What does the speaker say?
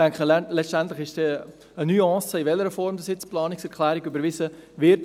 Ich denke, letztendlich ist es dann eine Nuance, in welcher Form die Planungserklärung überwiesen wird;